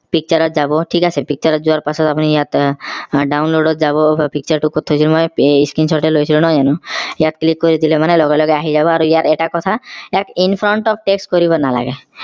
picture ত যাব ঠিক আছে picture ত যোৱাৰ পাছত আপুনি ইয়াত আহ download ত যাব picture টো কত থৈছো মই screenshot হে লৈছো নহয় জানো ইয়াত click কৰি দিলে মানে লগে লগে আহি যাব আৰু ইয়াৰ এটা কথা ইয়াক in front off text কৰিব নালাগে